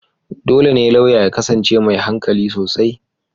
Dole ne lauya ya kasance mai hankali sosai.